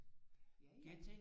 Ja ja